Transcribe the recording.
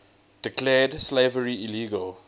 declared slavery illegal